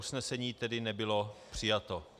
Usnesení tedy nebylo přijato.